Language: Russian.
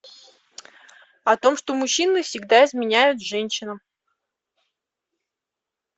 о том что мужчины всегда изменяют женщинам